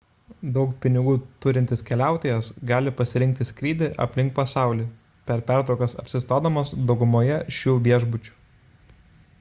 daug pinigų turintis keliautojas gali pasirinkti skrydį aplink pasaulį per pertraukas apsistodamas daugumoje šių viešbučių